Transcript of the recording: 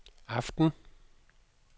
aften